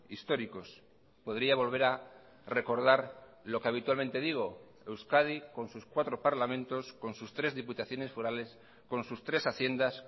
históricos podría volver a recordar lo que habitualmente digo euskadi con sus cuatro parlamentos con sus tres diputaciones forales con sus tres haciendas